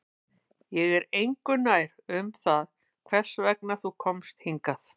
Ég er engu nær um það hvers vegna þú komst hingað